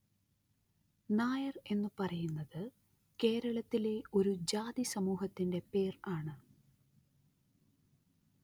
നായര്‍ എന്നു പറയുന്നത് കേരളത്തിലെ ഒരു ജാതി സമൂഹത്തിന്റെ പേര്‍ ആണ്